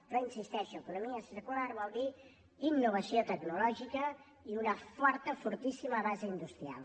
però hi insisteixo economia circular vol dir innovació tecnològica i una forta fortíssima base industrial